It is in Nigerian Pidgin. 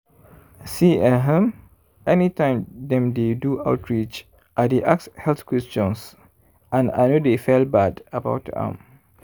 see ehum anytime dem dey do outreach i dy ask health questions and i no dey fell bad about am.